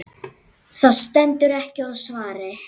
Það stendur ekki á svari.